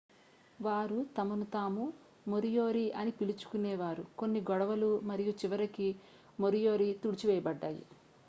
వారు తమను తాము మొరియోరి అని పిలుచుకునే వారు కొన్ని గొడవలు మరియు చివరికి మొరియోరి తుడిచివేయబడ్డాయి